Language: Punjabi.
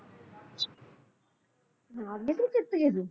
ਹਾਰ ਗਏ ਤੁਸੀਂ ਫੇਰ